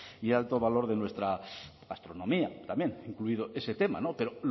y el alto valor de nuestra gastronomía también incluido ese tema pero